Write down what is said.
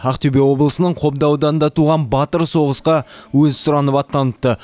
ақтөбе облысының қобда ауданында туған батыр соғысқа өзі сұранып аттаныпты